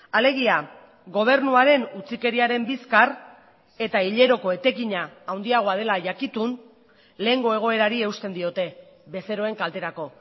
alegia gobernuaren utzikeriaren bizkar eta hileroko etekina handiagoa dela jakitun lehengo egoerari eusten diote bezeroen kalterako